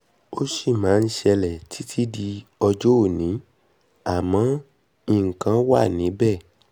ó sì máa ń ṣẹlẹ̀ títí di ọjọ́ òní àmọ́ nǹkan wá wa níbẹ̀ níbẹ̀